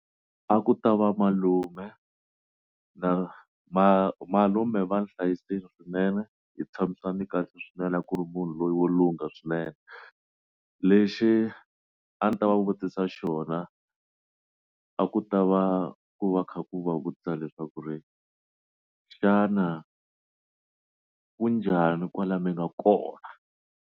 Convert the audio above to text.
A ku ta va malume na malume va ni hlayisile swinene hi tshamisane kahle swinene a ku ri munhu loyi wo lungha swinene, lexi a ndzi ta va vutisa xona a ku ta va ku va kha ku va vutisa leswaku ri xana ku njhani kwalani mi nga kona.